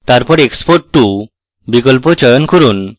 তারপর export to বিকল্প চয়ন করুন